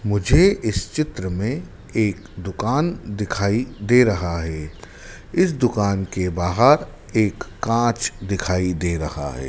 मुझे इस चित्र में एक दुकान दिखाई दे रहा है। इस दुकान के बाहर एक कांच दिखाई दे रहा है।